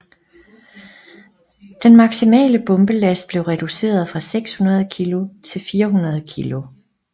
Den maksimale bombelast blev reduceret fra 600 kg til 400 kg